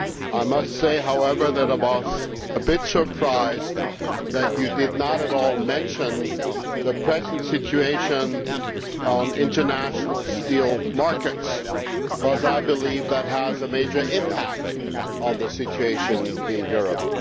I must say, however, that I was a bit surprised that you did not at all mention the present situation on international steel markets, because I believe that has a major impact on the situation in Europe.